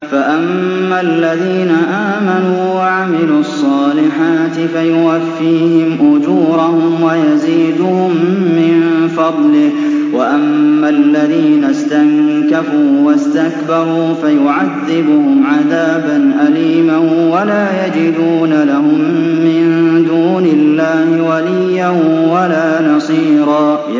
فَأَمَّا الَّذِينَ آمَنُوا وَعَمِلُوا الصَّالِحَاتِ فَيُوَفِّيهِمْ أُجُورَهُمْ وَيَزِيدُهُم مِّن فَضْلِهِ ۖ وَأَمَّا الَّذِينَ اسْتَنكَفُوا وَاسْتَكْبَرُوا فَيُعَذِّبُهُمْ عَذَابًا أَلِيمًا وَلَا يَجِدُونَ لَهُم مِّن دُونِ اللَّهِ وَلِيًّا وَلَا نَصِيرًا